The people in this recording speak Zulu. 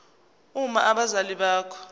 uma abazali bakho